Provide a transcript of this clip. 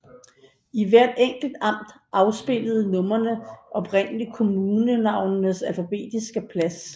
I hvert enkelt amt afspejlede numrene oprindelig kommunenavnets alfabetiske plads